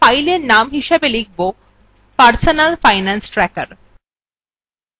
তাহলে আমরা fileএর name হিসাবে লিখবpersonal finance tracker